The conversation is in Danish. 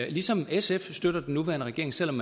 ligesom sf støtter den nuværende regering selv om